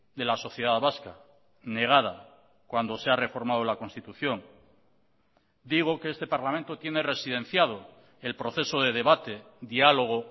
de la sociedad vasca negada cuando se ha reformado la constitución digo que este parlamento tiene residenciado el proceso de debate dialogo